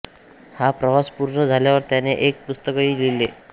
हा प्रवास पूर्णं झाल्यावर त्याने एक पुस्तकही लिहिले